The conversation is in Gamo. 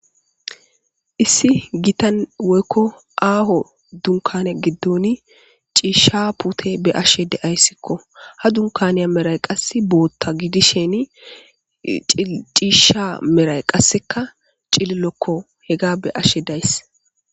Issi gitan woykko aaho dunkane giddoni ciishsha pute be ashe deayssikko ha dunkaneya meray qasse bootta gidisheni ciisha meray qasseka cililokko hega be ashe days.